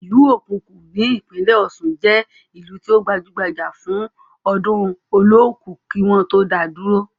Ìlú okuku ní ìpínlẹ̀ ọ̀ṣun jẹ́ ìlú tí ó gbajúbajà fún ọdún olooku kí wọ́n tó dáa dúró.